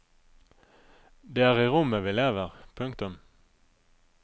Det er i rommet vi lever. punktum